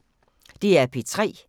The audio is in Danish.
DR P3